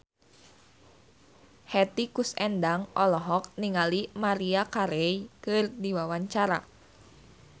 Hetty Koes Endang olohok ningali Maria Carey keur diwawancara